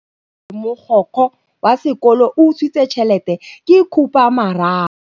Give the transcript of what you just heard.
Taba ya gore mogokgo wa sekolo o utswitse tšhelete ke khupamarama.